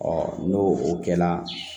Ɔ n'o o kɛla